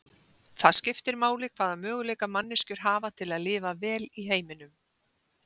Það skiptir máli hvaða möguleika manneskjur hafa til að lifa vel í heiminum.